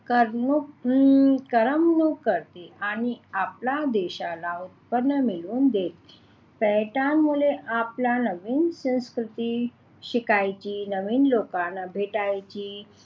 करमणूक करते आणि आपला देशाला उत्पन्न मिळून देईल पर्यटनमुळे आपला नवीन संस्कृती शिकायची नवीन लोकांना भेटायची